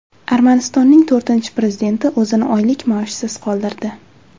Armanistonning to‘rtinchi prezidenti o‘zini oylik maoshsiz qoldirdi.